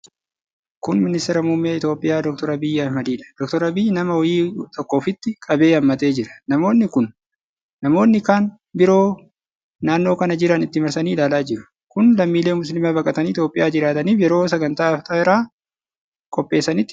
Kun Ministeera Muummee Itoophiy Dr Abiy Ahimadidha. Dr Abiy nama wayii tokko ofitti qabee hammatee jira. Namoonni kan biroon naannoo kana jiran itti marsanii ilaalaa jiru. Kun lammiilee musliimaa baqatanii Itoophiyaa jiraataniif yeroo sagantaa Afxiraa qopheessanitti ture.